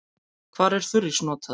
Hvar er þurrís notaður?